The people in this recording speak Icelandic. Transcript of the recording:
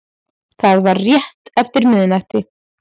Það var rétt eftir miðnætti